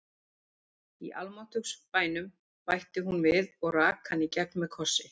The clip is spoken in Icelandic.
Í almáttugs bænum, bætti hún við og rak hann í gegn með kossi.